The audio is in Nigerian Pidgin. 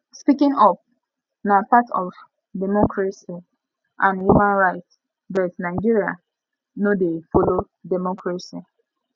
speaking up na part of democracy and human rights but nigeria no de follow democracy